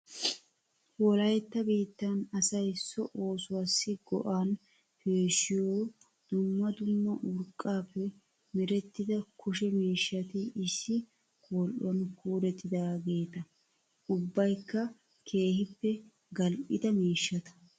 Wolayitta biittan asayi so oosuwaassi go'an peeshshiyoo dumma dumma urqqaappe merettida kushe miishshati issi qol'uwan kuurettidaageeta. Ubbayikka keehippe gal'ida miishshata.